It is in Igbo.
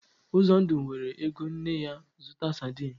Uzondu weere ego nne ya zụta sadin.